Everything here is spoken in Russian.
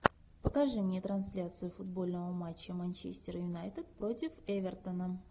покажи мне трансляцию футбольного матча манчестер юнайтед против эвертона